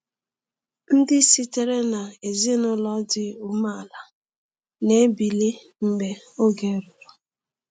Ndị sitere na ezinụlọ dị umeala na-ebili mgbe oge ruru.